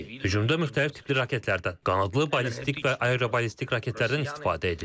Hücumda müxtəlif tipli raketlərdən, qanadlı, ballistik və aeroballistik raketlərdən istifadə edilib.